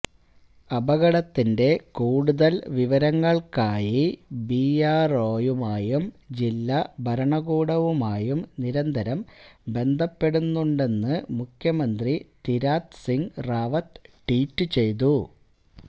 അപകടത്തിന്റെ കൂടുതല് വിവരങ്ങള്ക്കായി ബിആര്ഒയുമായും ജില്ലാ ഭരണകൂടവുമായും നിരന്തരം ബന്ധപ്പെടുന്നുണ്ടെന്ന് മുഖ്യമന്ത്രി തിരാത്ത് സിങ് റാവത്ത് ട്വീറ്റ് ചെയ്തു